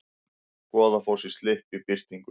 Goðafoss í slipp í birtingu